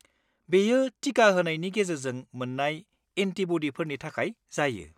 बेयो टिका होनायनि गेजेरजों मोन्नाय एन्टिब'डिफोरनि थाखाय जायो।